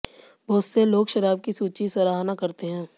बहुत से लोग शराब की सूची सराहना करते हैं